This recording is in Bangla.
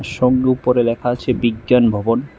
সঙ্গে উপরে লেখা আছে বিজ্ঞান ভবন।